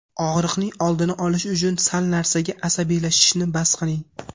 Og‘riqning oldini olish uchun sal narsaga asabiylashishni bas qiling.